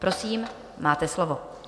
Prosím, máte slovo.